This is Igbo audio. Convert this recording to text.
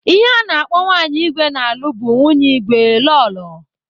Ihe a na-akpọ nwanyị igwe na-alụ bụ nwunye igwe/ Lọlọ.